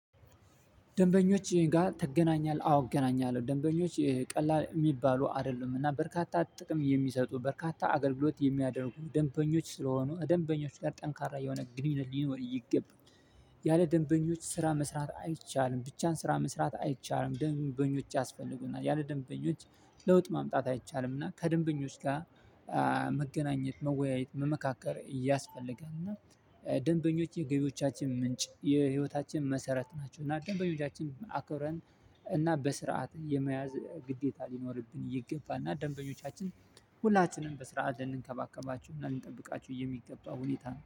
ደንበኞች ጋር ትገናኛለህ? አዎ እገናኛለሁ። ደንበኞች ቀላል የሚባሉ አይደሉም። እና በርካታ ጥቅም የሚሰጡ በርካታ አገልግሎት የሚያደርጉ ደንበኞች ስለሆኑ ደንበኞች ጋር ጠንካራ የሆነ ግንኙነት ሊኖር ይገባል። ያለ ደንበኞች ስራ መስራት አይቻልም። ብቻን ስራ መስራት አይቻልም። ደንበኞች ያስፈልጉናል። ያለ ደንበኞች ለውጥ ማምጣት አይቻልም። እና ከደንበኞች ጋር መገናኘት መወያየት መመካከር ያስፈለጋል። እና ደንበኞች የገቢዎቻችን ምንጭ የህይወታችን መሰረት ናቸው። እና ደንበኞቻችንን አክብረን እና በስርዓት የመያዝ ግዴታ ሊኖርብን ይገባል። እና ደንበኞቻችን ሁላችንም በስራ ልንከባከባችሁ እና ልንጠብቃችሁ የሚገባ ሁኔታ